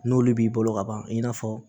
N'olu b'i bolo ka ban i n'a fɔ